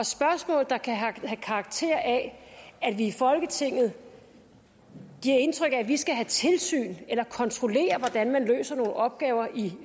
spørgsmål der kan have karakter af at vi i folketinget giver indtryk af at vi skal have tilsyn med eller kontrollere hvordan man løser nogle opgaver i